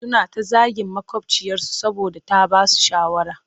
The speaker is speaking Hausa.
Suna ta zagin maƙwabciyarsu saboda ta ba su shawara